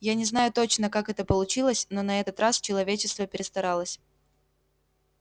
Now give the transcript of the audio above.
я не знаю точно как это получилось но на этот раз человечество перестаралось